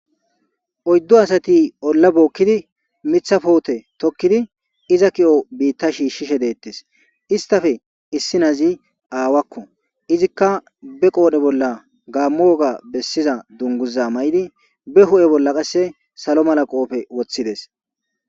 oyddu asati olla bookkidi mitha puute tokkidi iza ki'o biitta shiishshishe deettes istafe issi nazi aawakko izikka be qoodhe bolla gaammu woga bessiza dunguza mayidi be hu'e bolla qasse salo mala qoofe woththides